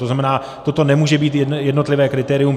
To znamená, toto nemůže být jednotlivé kritérium.